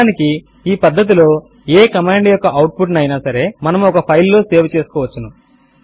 నిజమునకు ఈ పద్దతిలో ఏ కమాండ్ యొక్క అవుట్ పుట్ ను అయినా సరే మనము ఒక ఫైల్ లో సేవ్ చేసుకోవచ్చును